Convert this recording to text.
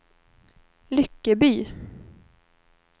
Lyckeby